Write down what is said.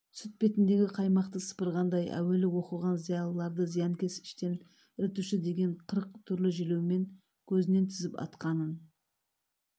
сүт бетіндегі қаймақты сыпырғандай әуелі оқыған зиялыларды зиянкес іштен ірітуші деген қырық түрлі желеумен көзінен тізіп атқанын